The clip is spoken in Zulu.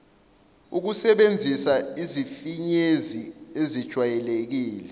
ukusebenzisa izifinyezi ezijwayelekile